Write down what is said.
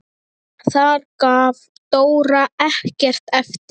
Þar gaf Dóra ekkert eftir.